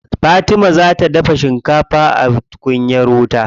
Fatima za ta dafa shikafa a tukunyar wuta.